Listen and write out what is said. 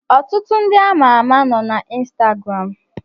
Ọtụtụ ndị ama ama nọ na Instagram